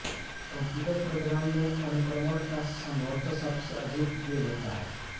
computer प्रोग्रामों में अनुक्रमण का सम्भवतः सबसे अधिक उपयोग होता है